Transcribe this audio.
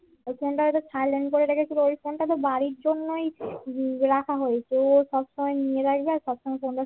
ওই চেঙরা হয়তো silent করে রেখেছিল ওই ফোনটা তো বাড়ির জন্যই তো হম রাখা হয়েছে ও সব সময় নিয়ে রাখবে আর সব সময় তোমরা